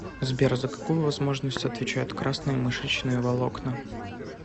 сбер за какую возможность отвечают красные мышечные волокна